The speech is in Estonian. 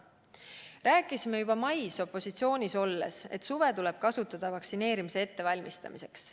Rääkisime juba mais opositsioonis olles, et suve tuleb kasutada vaktsineerimise ettevalmistamiseks.